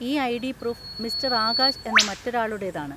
ഈ ID. Proof mister Akash എന്ന മറ്റൊരാളുടെതാണ്.